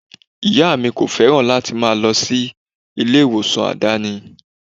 Ìyá mi kò féràn láti máa lọ sí ilé ìwòsàn àdáni.